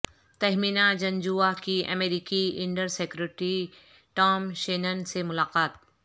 تہمینہ جنجوعہ کی امریکی under secretary Tom Shannon سے ملاقات